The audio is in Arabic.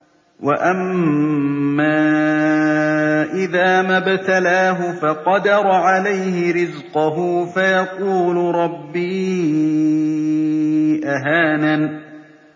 وَأَمَّا إِذَا مَا ابْتَلَاهُ فَقَدَرَ عَلَيْهِ رِزْقَهُ فَيَقُولُ رَبِّي أَهَانَنِ